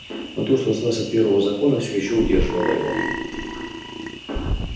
но то что осталось от первого закона всё ещё удерживало его